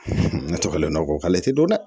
Ne tɔgɔ ye nɔ ko k'ale tɛ don dɛ